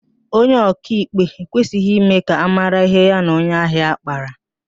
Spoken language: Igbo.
Onye ọkaikpe ekwesịghị ime ka ámárá ihe ya na onye ahịa ya kpara